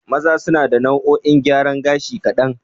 Maza suna da nau'o'in gyaran gashi kaɗan.